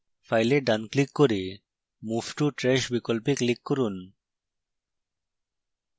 file ডানclick করে move to trash বিকল্পে click করুন